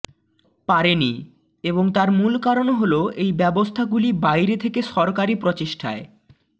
পারেনি এবং তার মূল কারণ হল এই ব্যবস্থাগুলি বাইরে থেকে সরকারী প্রচেষ্টায়